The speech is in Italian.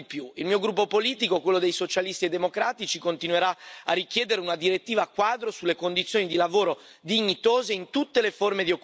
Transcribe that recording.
Il mio gruppo politico, quello dei Socialisti e Democratici continuerà a richiedere una direttiva quadro sulle condizioni di lavoro dignitose in tutte le forme di occupazione.